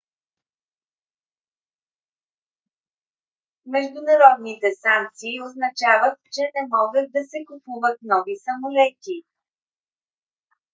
международните санкции означават че не могат да се купуват нови самолети